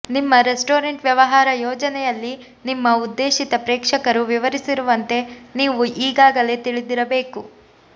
ನಿಮ್ಮ ರೆಸ್ಟೋರೆಂಟ್ ವ್ಯವಹಾರ ಯೋಜನೆಯಲ್ಲಿ ನಿಮ್ಮ ಉದ್ದೇಶಿತ ಪ್ರೇಕ್ಷಕರು ವಿವರಿಸಿರುವಂತೆ ನೀವು ಈಗಾಗಲೇ ತಿಳಿದಿರಬೇಕು